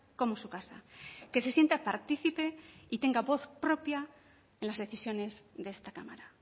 como su casa que se sienta participe y tenga voz propia en las decisiones de esta cámara